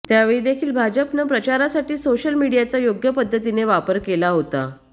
त्यावेळी देखील भाजपनं प्रचारासाठी सोशल मीडियाचा योग्य पद्धतीनं वापर केला होता